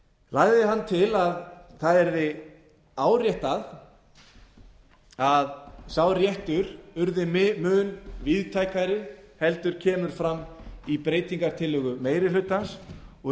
lagði hann til að það yrði áréttað að sá réttur yrði mun víðtækari en kemur fram í breytingartillögu meiri hlutans og